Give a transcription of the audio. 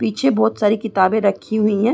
पीछे बोहोत सारी किताबें रखी हुई हैं।